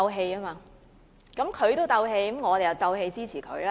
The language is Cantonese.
既然他鬥氣，那麼我也鬥氣支持他吧！